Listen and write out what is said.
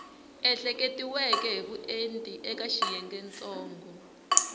ehleketiweke hi vuenti eka xiyengentsongo